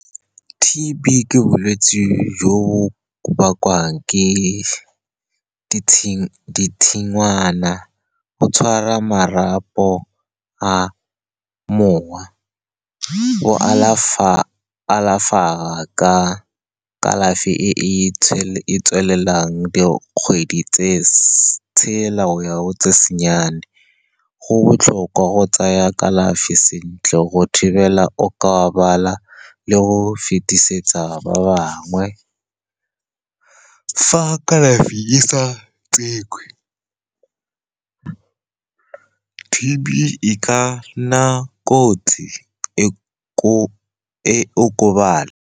T_B ke bolwetse jo bo bakwang ke , go tshwara marapo a mowa, go alafa ka kalafi e e tswelelang dikgwedi tse tshela go ya go tse nnyane. Go botlhokwa go tsaa kalafi sentle go thibela okabala le go fetisetsa ba bangwe. Fa kalafi e sa tsewe, T_B e ka nna kotsi e okobatse.